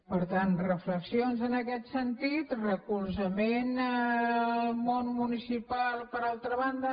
per tant reflexions en aquest sentit recolzament al món municipal per altra banda